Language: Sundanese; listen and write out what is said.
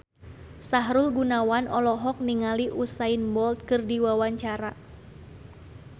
Sahrul Gunawan olohok ningali Usain Bolt keur diwawancara